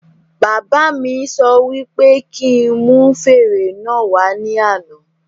Bàbá mí sọ wí pé kí n mú fèrè náà wà ní àna